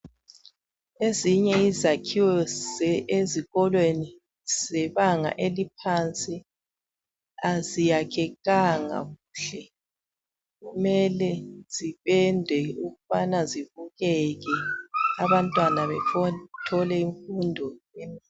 Ezinye izakhiwo ezikolweni zebanga eliphansi aziyakhekanga kuhle. Kumele zipendwe ukubana zibukeke abantwana bethole imfundo.